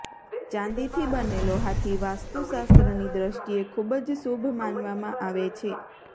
ચાંદીથી બનેલો હાથી વાસ્તુ શાસ્ત્રની દૃષ્ટિએ ખૂબ જ શુભ માનવામાં આવે છે